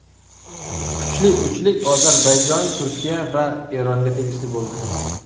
Kuchli uchlik Ozarbayjon, Turkiya va Eronga tegishli bo‘ldi.